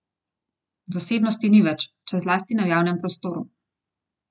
Zasebnosti ni več, še zlasti ne v javnem prostoru.